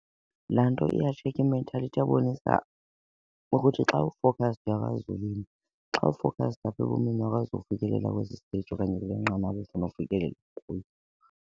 Laa nto iyatshekha i-mentality iyabonisa ukuthi xa u-focused uyakwazi uwina, xa u-focused apha ebomini uyakwazi ufikelela kwesi stage okanye kweli nqanaba ufuna ufikelela kulo.